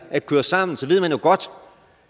at køre sammen så ved man jo godt